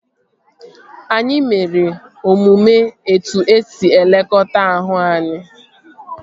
Anyị mere omume etu esi elekọta ahụ anyị